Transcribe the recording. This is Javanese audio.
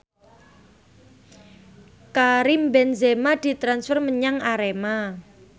Karim Benzema ditransfer menyang Arema